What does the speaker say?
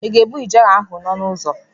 Ị ga-egbu ijere ahụ n'ọnụ ụzọ?